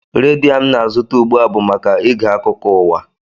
Redio a m na-azụta ugbu a bụ maka ige akụkọ ụwa